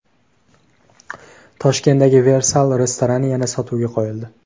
Toshkentdagi Versal restorani yana sotuvga qo‘yildi.